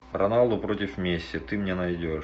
роналдо против месси ты мне найдешь